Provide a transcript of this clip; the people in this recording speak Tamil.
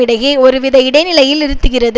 இடையே ஒருவித இடை நிலையில் இருத்துகிறது